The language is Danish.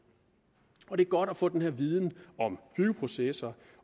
og det er godt at få den her viden om byggeprocesser